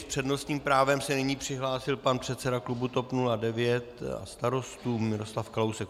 S přednostním právem se nyní přihlásil pan předseda klubu TOP 09 a Starostů Miroslav Kalousek.